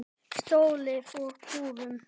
Stolið úr búðum.